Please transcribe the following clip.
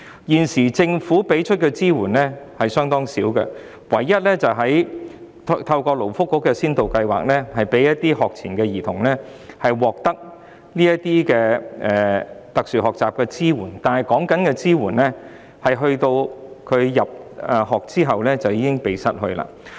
現時政府提供的支援相當少，唯一是透過勞工及福利局的先導計劃，讓一些學前兒童獲得特殊學習的支援，但有關支援只提供至他入學後便停止。